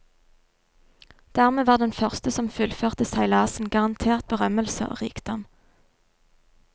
Dermed var den første som fullførte seilasen garantert berømmelse og rikdom.